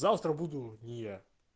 завтра буду не я